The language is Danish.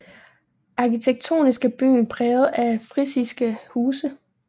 Arkitektonisk er byen præget af frisiske huse